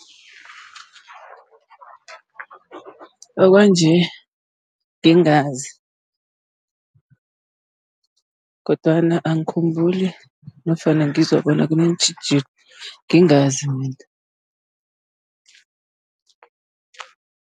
Okwanje ngingazi, kodwana angikhumbuli nofana ngizwa bona kuneentjhijilo, ngingazi mina.